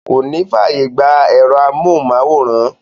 Kò ní fáàyè gbà ẹ̀rọ amóhùnmáwòrán.